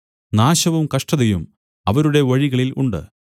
നാശവും കഷ്ടതയും അവരുടെ വഴികളിൽ ഉണ്ട്